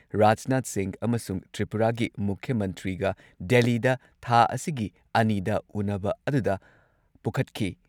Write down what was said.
ꯔꯥꯖꯅꯥꯊ ꯁꯤꯡꯍ ꯑꯃꯁꯨꯡ ꯇ꯭ꯔꯤꯄꯨꯔꯥꯒꯤ ꯃꯨꯈ꯭ꯌ ꯃꯟꯇ꯭ꯔꯤꯒ ꯗꯦꯜꯂꯤꯗ ꯊꯥ ꯑꯁꯤꯒꯤ ꯑꯅꯤꯗ ꯎꯟꯅꯕ ꯑꯗꯨꯗ ꯄꯨꯈꯠꯈꯤ ꯫